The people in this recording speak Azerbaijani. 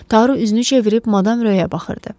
Taru üzünü çevirib Madam Roya baxırdı.